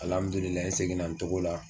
n seginna n cogo la.